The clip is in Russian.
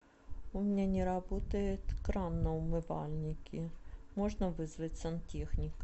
у меня не работает кран на умывальнике можно вызвать сантехника